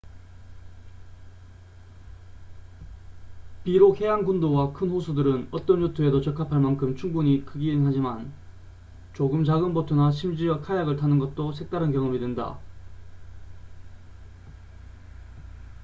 비록 해안 군도와 큰 호수들은 어떤 요트에도 적합할 만큼 충분히 크긴 하지만 조금 작은 보트나 심지어 카약을 타는 것도 색다른 경험이 된다